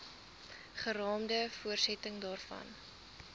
geraamde voortsetting daarvan